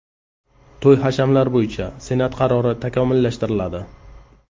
To‘y-hashamlar bo‘yicha Senat qarori takomillashtiriladi.